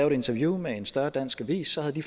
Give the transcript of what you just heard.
et interview med en større dansk avis havde de